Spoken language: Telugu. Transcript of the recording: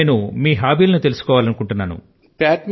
నేను మీ అలవాటుల ను గురించి తెలుసుకోవాలనుకుంటున్నాను